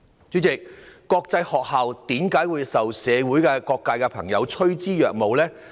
主席，國際學校為何會受社會各界朋友趨之若鶩呢？